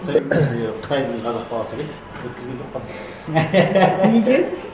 қытайдың қазақ баласы келеді өткізген жоқпын неге